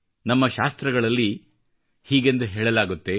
ನಮ್ಮ ಶಾಸ್ತ್ರಗಳಲ್ಲಿ ಹೀಗೆಂದು ಹೇಳಲಾಗುತ್ತದೆ